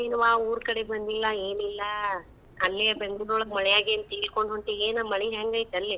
ಏನ್ವಾ ಊರ್ ಕಡೆ ಬಂದಿಲ್ಲಾ ಏನಿಲ್ಲಾ ಅಲ್ಲೇ ಬೆಂಗ್ಳುರ್ ಒಳ್ಗ್ ಮಳ್ಯಾಗ ಏನ್ ತೇಲಕೊಂಡ ಹೊಂಟಿ ಏನ್? ಮಳಿ ಹೆಂಗ್ ಐತಿ ಅಲ್ಲೇ?